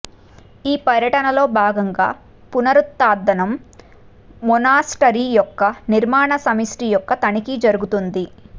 ఈ పర్యటనలో భాగంగా పునరుత్థానం మొనాస్టరీ యొక్క నిర్మాణ సమిష్టి యొక్క తనిఖీ జరుగుతుంది